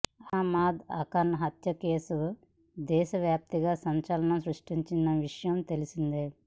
అహమ్మద్ అఖ్లాక్ హత్య కేసు దేశ వ్యాప్తంగా సంచలనం సృష్టించిన విషయం తెలిసిందే